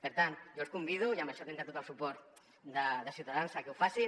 per tant jo els convido i en això tindrà tot el suport de ciutadans a que ho facin